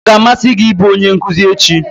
Ọ ga-amasị gị ịbụ onye nkuzi echi?